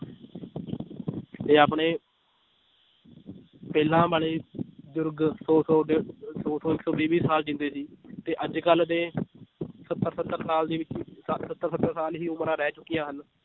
ਤੇ ਆਪਣੇ ਪਹਿਲਾਂ ਵਾਲੇ ਬਜ਼ੁਰਗ ਸੌ ਸੌ ਡੇਢ ਦੋ ਸੌ ਇੱਕ ਸੌ ਵੀਹ ਵੀਹ ਸਾਲ ਜਿਉਂਦੇ ਸੀ, ਤੇ ਅੱਜ ਕੱਲ੍ਹ ਦੇ ਸੱਤਰ ਸੱਤਰ ਸਾਲ ਹੀ ਉਮਰਾਂ ਰਹਿ ਚੁੱਕੀਆਂ ਹਨ